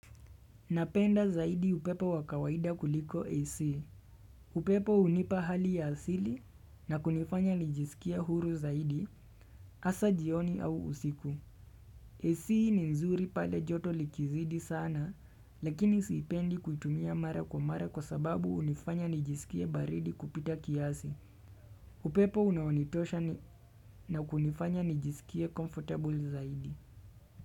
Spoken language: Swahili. Napenda zaidi upepo wa kawaida kuliko AC. Upepo hunipa hali ya asili na kunifanya nijisikie huru zaidi, asa jioni au usiku. AC ni nzuri pale joto likizidi sana, lakini siipendi kuitumia mara kwa mara kwa sababu hunifanya nijisikie baridi kupita kiasi. Upepo unaonitosha na kunifanya nijisikia comfortable zaidi.